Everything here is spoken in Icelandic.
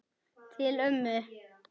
Til ömmu.